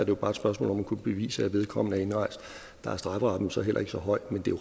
jo bare et spørgsmål om at kunne bevise at vedkommende er indrejst der er strafferammen så heller ikke så høj men det er